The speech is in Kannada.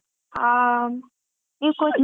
ಆಂ,